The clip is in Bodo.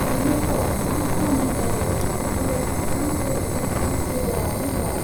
बेनोथ', मा खालामनाय जायो, ओरै थांहां ओरै फैहां गेजेरावनो दं।